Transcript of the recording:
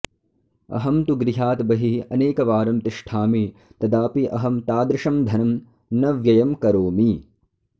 अहं तु गृहात् बहिः अनेकवारं तिष्ठामि तदापि अहं तादृशं धनं न व्ययं करोमि